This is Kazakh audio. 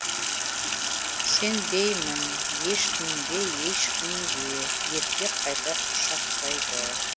сенбеймін ешкімге ешкімге еркек қайта құшақтайды